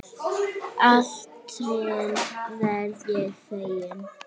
Alltént verð ég feginn.